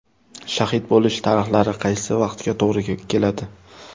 Shahid bo‘lish tarixlari qaysi vaqtga to‘g‘ri keladi?